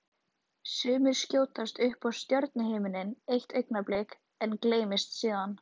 Sumir skjótast upp á stjörnuhimininn eitt augnablik en gleymast síðan.